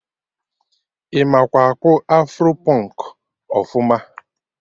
Ị makwa akpụ afro pụnk ọfụma?